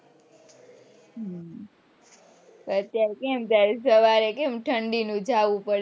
અત્યાર કેમ થાય સવાર નું કેમ ઠંડી નું જવું પડે.